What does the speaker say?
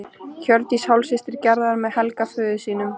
Hjördís hálfsystir Gerðar með Helga föður sínum.